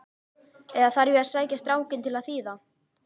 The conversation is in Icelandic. Eða þarf ég að sækja strákinn til að þýða?